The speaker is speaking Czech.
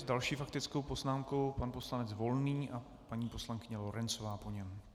S další faktickou poznámkou pan poslanec Volný a paní poslankyně Lorencová po něm.